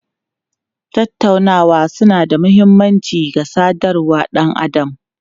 Tattaunawa suna da mahimmanci ga sadarwar ɗan adam.